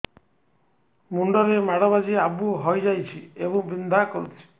ମୁଣ୍ଡ ରେ ମାଡ ବାଜି ଆବୁ ହଇଯାଇଛି ଏବଂ ବିନ୍ଧା କରୁଛି